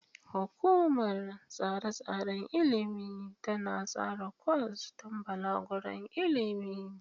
Hukumar Tsare-tsaren Ilimi tana tsara kwas don balaguron ilimi.